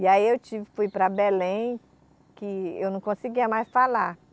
E aí eu tive, fui para Belém, que eu não conseguia mais falar.